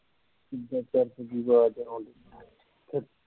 ਅਵਾਜ਼ ਹੌਲੀ